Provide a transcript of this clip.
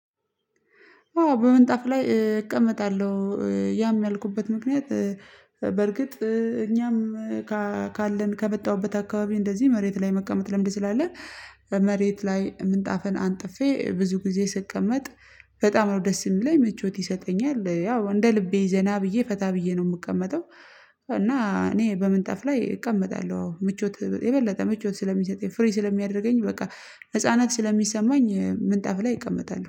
አዎ በምንጣፍ ላይ እቀመጣለሁ ያም ያልኩበት ምክንያት በርግጥ እኛም ካለን ከመጣሁበት አካባቢ እንደዚህ መሬት ላይ መቀመጥ ለምንድን? ስላለ መሬት ላይ ምንጣፈን አንጥፌ ብዙ ጊዜ ስቀመጥ በጣም ነው ደስ የሚለኝ መቾት ይሰጠኛል ያው እንደ ልቤ ዘና ብዬ ፈታ ብዬ ነው የምቀመጠው። እና እኔ በምንጠፍ ላይ እቀመጣለሁ ምቾት የበለጠ ምቾት ስለሚሰጠኝ ፍሪ ስለሚያደርገኝ በቃ ነፃናት ስለሚሰማኝ ምንጣፍ ላይ እቀመጣለሁ